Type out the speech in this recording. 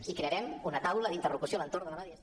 i crearem una taula d’interlocució a l’entorn de la mediació